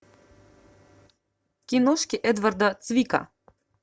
киношки эдварда цвика